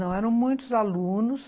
Não, eram muitos alunos,